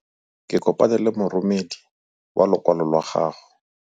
Ke kopane le moromedi wa lokwalo lwa gago.